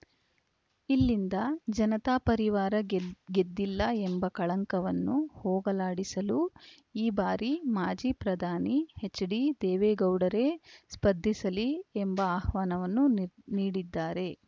ಇಲ್ಲಿಂದ ಜನತಾ ಪರಿವಾರ ಗೆ ಗೆದ್ದಿಲ್ಲ ಎಂಬ ಕಳಂಕವನ್ನು ಹೋಗಲಾಡಿಸಲು ಈ ಬಾರಿ ಮಾಜಿ ಪ್ರಧಾನಿ ಎಚ್‌ಡಿದೇವೇಗೌಡರೇ ಸ್ಪರ್ಧಿಸಲಿ ಎಂಬ ಆಹ್ವಾನವನ್ನು ನೀ ನೀಡಿದ್ದಾರೆ